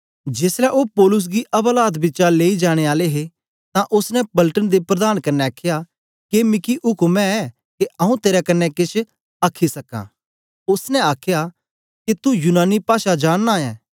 जेसलै ओ पौलुस गी अवालात बिचा लेई जाने आले हे तां ओसने पलटन दे प्रधान कन्ने आखया के मिकी उक्म ऐ के आंऊँ तेरे कन्ने केछ आखी सकां ओसने आखया के तू यूनानी पाषा जानना ऐ